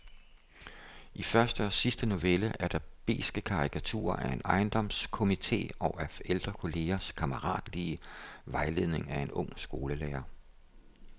I første og sidste novelle er der beske karikaturer af en ejendomskomite og af ældre kollegers kammeratlige vejledning af en ung skolelærer.